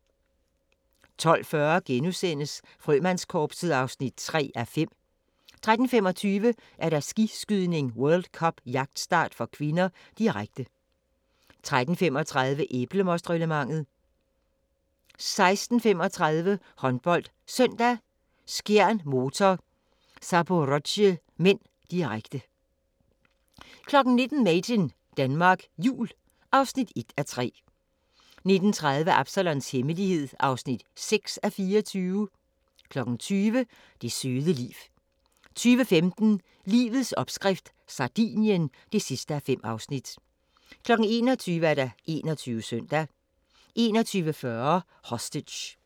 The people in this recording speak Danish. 12:40: Frømandskorpset (3:5)* 13:25: Skiskydning: World Cup - jagtstart (k), direkte 14:35: Æblemostreglementet 16:35: HåndboldSøndag: Skjern-Motor Zaporozhye (m), direkte 19:00: Made in Denmark Jul (1:3) 19:30: Absalons Hemmelighed (6:24) 20:00: Det søde liv 20:15: Livets opskrift – Sardinien (5:5) 21:00: 21 Søndag 21:40: Hostage